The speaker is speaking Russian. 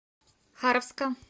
харовска